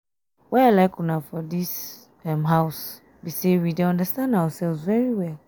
why i like una for dis um house um be say we dey understand ourselves very well